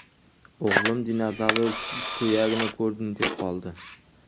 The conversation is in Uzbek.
O‘g‘lim ‘dinozavr suyagini ko‘rdim’, deb qoldi.